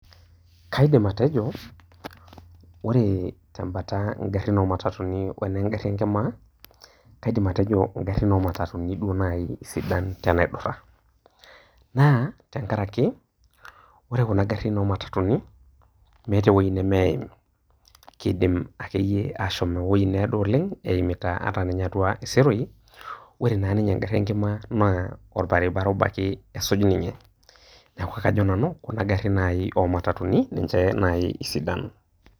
kaidim atejo, ore tembata ngarrin oo matatunini onengarri enkima, kaidim atejo ngarrin oomatatuni duo naaji sidan tenaidurra, naa tenkaraki ore kuna garrin oomatatuni, meeta ewueji nemeeim, kidim akeyeie aashom ewuei needo oleng' eimita ata iseroi. Ore naa ninye engarri enkima naa olbaribara obo ake esuj ninye, neeku kajo nanu kuna garrin naai oomatatuni ninche naai sidan.